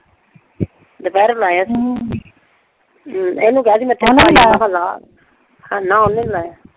ਦੁਪਹਿਰੇ ਲਾਇਆ ਇਹਨੂੰ ਕਿਹਾ ਸੀ ਹਾਂ ਨਾ ਉਹਨੇ ਨਈਂ ਲਾਇਆ।